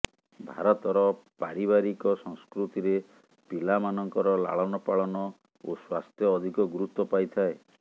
ଭାରତର ପାରିବାରିକ ସଂସ୍କୃତିରେ ପିଲାମାନଙ୍କର ଲାଳନପାଳନ ଓ ସ୍ୱାସ୍ଥ୍ୟ ଅଧିକ ଗୁରୁତ୍ୱ ପାଇଥାଏ